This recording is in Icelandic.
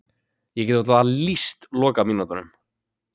Ég get varla lýst lokamínútunum.